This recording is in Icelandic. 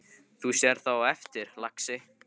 Þú sérð það á eftir, lagsi.